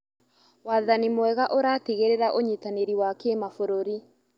Wathani mwega ũratigĩrĩra ũnyitanĩri wa kĩmabũrũri.